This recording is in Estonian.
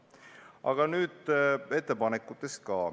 Aga nüüd ettepanekutest.